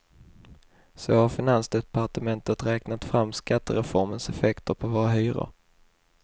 Så har finansdepartementet räknat fram skattereformens effekter på våra hyror.